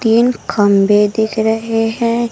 तीन खंभे दिख रहे हैं।